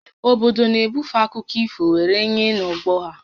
Obodo na-ebufe akụkọ ifo were nye n'ọgbọ ha